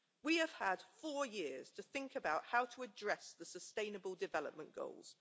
We have had four years to think about how to address the sustainable development goals.